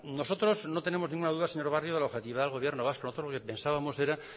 nosotros no tenemos ninguna duda señor barrio de la objetividad del gobierno vasco nosotros lo que pensábamos era